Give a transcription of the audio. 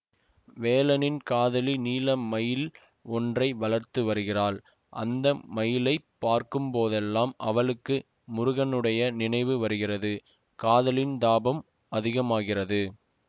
வேலனின் காதலி நீல மயில் ஒன்றை வளர்த்து வருகிறாள் அந்த மயிலைப் பார்க்கும் போதெல்லாம் அவளுக்கு முருகனுடைய நினைவு வருகிறது காதலின் தாபம் அதிகமாகிறது